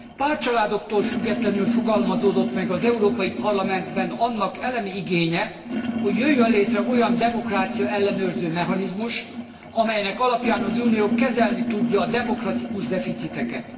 Pártcsaládoktól függetlenül fogalmazódott meg az Európai Parlamentben annak elemi igénye, hogy jöjjön létre olyan demokrácia ellenőrző mechanizmus, amelynek alapján az Unió kezelni tudja a demokratikus deficiteket.